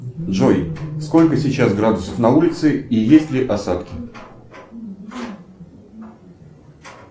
джой сколько сейчас градусов на улице и есть ли осадки